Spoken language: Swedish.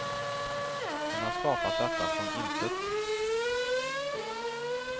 Hon har skapat detta från intet.